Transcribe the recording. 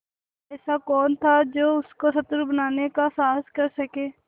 ऐसा कौन था जो उसको शत्रु बनाने का साहस कर सके